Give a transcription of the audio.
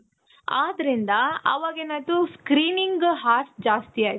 ಆದ್ರಿಂದ ಅವಗ ಏನಾಯ್ತು screening horse ಜಾಸ್ತಿ ಆಯ್ತು.